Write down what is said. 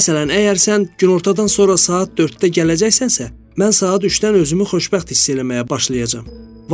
Məsələn, əgər sən günortadan sonra saat 4-də gələcəksənsə, mən saat 3-dən özümü xoşbəxt hiss eləməyə başlayacam.